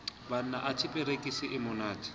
banna anthe perekisi e monate